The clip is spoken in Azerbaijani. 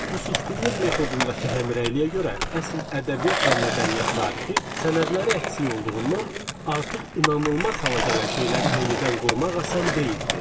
Bu susqunluq metodundakı həmrəyliyə görə əsil ədəbiyyat və mədəniyyət tarixi sənədləri əksik olduğundan artıq inanılmaz hala gələn şeyləri yenidən qurmaq asan deyildi.